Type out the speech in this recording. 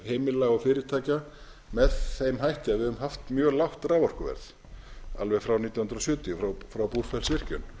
heimila og fyrirtækja með þeim hætti að við höfum haft mjög lágt raforkuverð alveg frá nítján hundruð sjötíu frá búrfellsvirkjun